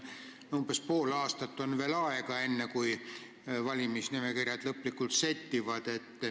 Umbes pool aastat on aega, enne kui valimisnimekirjad lõplikult settivad.